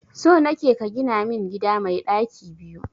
So nake ka gina min gida mai daki biyu.